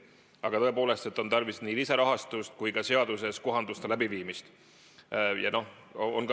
Aga tõepoolest, on tarvis nii lisarahastust kui ka seaduses kohanduste läbiviimist.